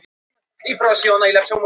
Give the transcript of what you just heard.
um hús innanverð.